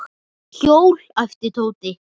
Hjól? æpti Tóti.